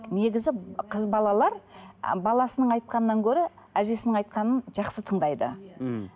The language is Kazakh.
негізі қыз балалар баласының айтқанынан гөрі әжесінің айтқанын жақсы тыңдайды мхм